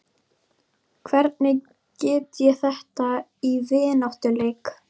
Hvernig get ég þetta í vináttuleik?